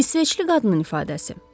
İsveçli qadının ifadəsi.